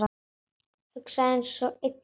Hugsa einsog einn maður.